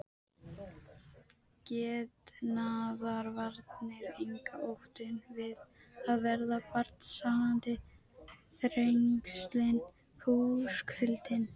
Getnaðarvarnir engar, óttinn við að verða barnshafandi, þrengslin, húskuldinn.